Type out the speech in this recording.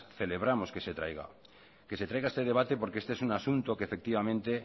celebramos que se traiga este debate porque este es un asunto que